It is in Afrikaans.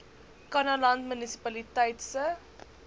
kannaland munisipaliteit se